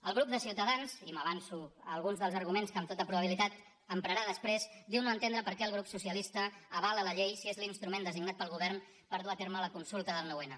el grup de ciutadans i m’avanço a alguns dels arguments que amb tota probabilitat emprarà després diu no entendre per què el grup socialista avala la llei si és l’instrument designat pel govern per dur a terme la consulta del noun